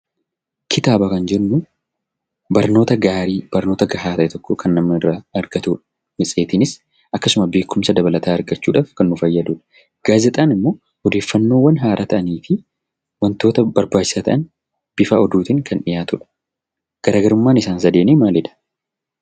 Kitaaba kan jennu barnoota gaarii barnoota gahaa ta'e tokko kan namni irraa argatuu dha. Matseetiinis akkasuma beekumsa dabalataa argachuudhaaf kan nu fayyaduu dha. Gaazexaan immoo odeeffannoowwan haaraa ta'anii fi wantoota barbaachisoo ta'an bifa oduutiin kan dhiyaatu dha. Garaagarummaan isaan sadeenii maali dha?